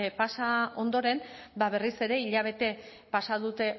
pasa ondoren ba berriz ere hilabete pasa dute